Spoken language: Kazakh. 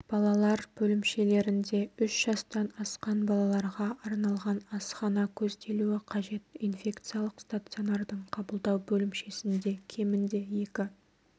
балалар бөлімшелерінде үш жастан асқан балаларға арналған асхана көзделуі қажет инфекциялық стационардың қабылдау бөлімшесінде кемінде екі